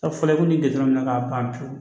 A fɔra ko nin gindo ka ban pewu